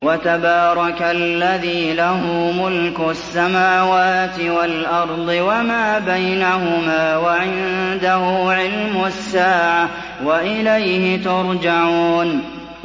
وَتَبَارَكَ الَّذِي لَهُ مُلْكُ السَّمَاوَاتِ وَالْأَرْضِ وَمَا بَيْنَهُمَا وَعِندَهُ عِلْمُ السَّاعَةِ وَإِلَيْهِ تُرْجَعُونَ